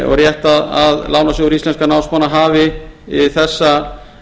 og er rétt að lánasjóður íslenskum námsmanna hafi þessa